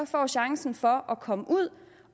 får chancen for at komme ud